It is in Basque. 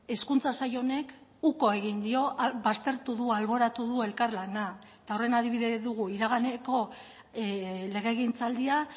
hezkuntza sail honek uko egin dio baztertu du alboratu du elkarlana eta horren adibide dugu iraganeko legegintzaldia